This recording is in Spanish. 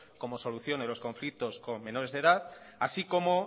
como solución a los conflictos con menores de edad así como